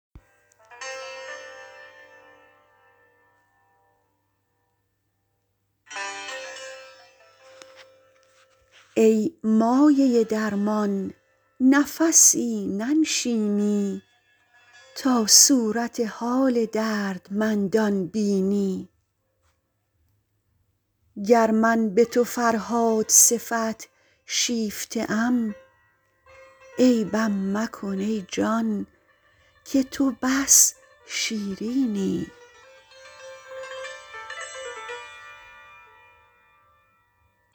ای مایه درمان نفسی ننشینی تا صورت حال دردمندان بینی گر من به تو فرهاد صفت شیفته ام عیبم مکن ای جان که تو بس شیرینی